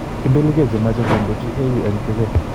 ipeligee chemache kondochi AU en tibeet